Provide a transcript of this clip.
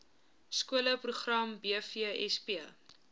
skole program bvsp